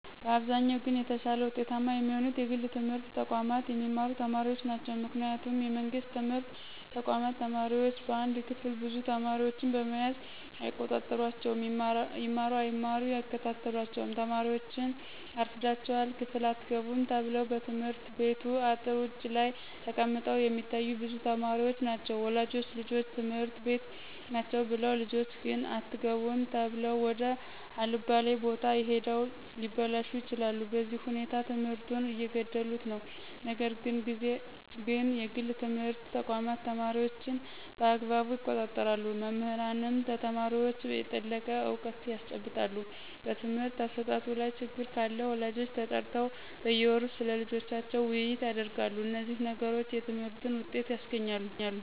በአብዛኛው ግን የተሻለ ውጤታማ የሚሆኑት የግል ትምህርት ተቋማት የሚማሩ ተማሪዎች ናቸው ምክንያቱም የመንግስት ትምህርት ተቋማት ተማሪዎች በአንድ ክፍል ብዙ ተማሪዎችን በመያዝ አይቆጣጠሯቸውም ይማሩ አይማሩ አይከታተሏቸውም ተማሪዎችን አርፍዳችሗል ክፍል አትገቡም ተብለው በየትምህርት ቤቱ አጥር ውጭ ላይ ተቀምጠው የሚታዮ ብዙ ተማሪዎች ናቸው ወላጆች ልጆች ትምህርት ቤት ናቸው ብለው ልጆች ግን አትገቡም ተብለው ወደ አለባሌ ቦታ ሂደው ሊበላሹ ይችላሉ በዚህ ሁኔታ ትምህርቱን እየገደሉት ነው ነገር ግን የግል ትምህርት ተቋማት ተማሪዎችን በአግባቡ ይቆጣጠራሉ መምህራንም ለተማሪዎች የጠለቀ እውቀት ያስጨብጣሉ በትምህርት አሰጣጡ ላይ ችግር ካለ ወላጆች ተጠርተው በየወሩ ስለልጆቻቸው ውይይት ያደርጋሉ እነዚህ ነገሮች የትምህርትን ውጤት ያስገኛሉ